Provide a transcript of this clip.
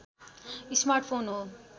smart phone हो